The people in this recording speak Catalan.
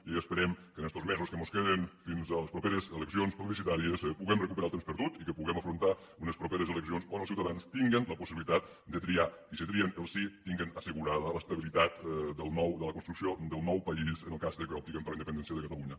i esperem que en estos mesos que mos queden fins a les properes eleccions plebiscitàries puguem recuperar el temps perdut i que puguem afrontar unes properes eleccions on els ciutadans tinguen la possibilitat de triar i si trien el sí tinguin assegurada l’estabilitat de la construcció del nou país en el cas que optin per a la independència de catalunya